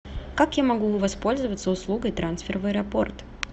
как я могу воспользоваться услугой трансфер в аэропорт